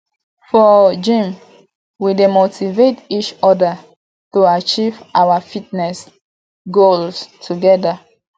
for gym we dey motivate each other to achieve our fitness goals together